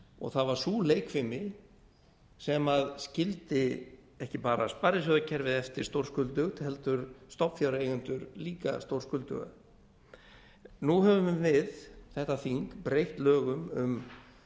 og það var sú leikfimi sem skildi ekki bara sparisjóðakerfið eftir stórskuldugt heldur stofnfjáreigendur líka stórskuldugt nú höfum við þetta þing breytt lögum um